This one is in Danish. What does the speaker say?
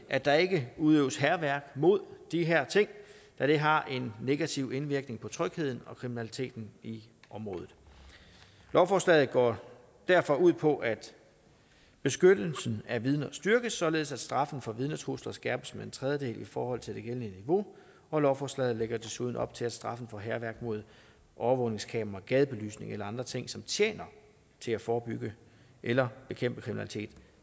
at der ikke udøves hærværk mod de her ting da det har en negativ indvirkning på trygheden og kriminaliteten i området lovforslaget går derfor ud på at beskyttelsen af vidner styrkes således at straffen for vidnetrusler skærpes med en tredjedel i forhold til det gældende niveau og lovforslaget lægger desuden op til at straffen for hærværk mod overvågningskameraer gadebelysning eller andre ting som tjener til at forebygge eller bekæmpe kriminalitet